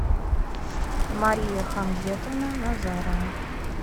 мария хамзетовна назарова